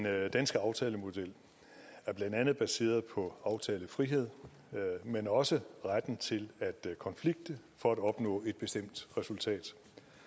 danske aftalemodel er blandt andet baseret på aftalefrihed men også retten til at konflikte for at opnå et bestemt resultat